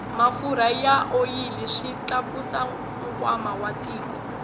mafurha na oyili swi tlakusa nkwama wa tiko